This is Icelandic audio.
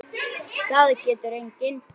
Það getur enginn.